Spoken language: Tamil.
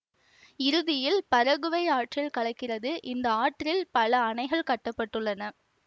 இறுதியில் பரகுவை ஆற்றில் கலக்கிறது இந்த ஆற்றில் பல அணைகள் கட்ட பட்டுள்ளன